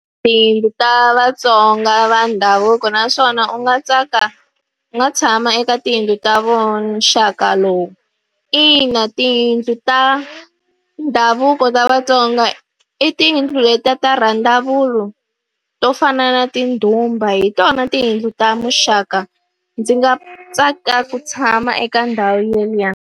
Tiyindlu ta Vatsonga va ndhavuko naswona u nga tsaka u nga tshama eka tiyindlu ta muxaka lowu? Ina tiyindlu ta ndhavuko kota Vatsonga i tiyindlu letiya ta randavula to fana na tindhumba, hi tona tiyindlu ta muxaka. Ndzi nga tsakela ku tshama eka ndhawu yeliya.